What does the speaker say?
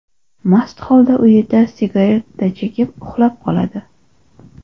mast holda uyida sigareta chekib, uxlab qoladi.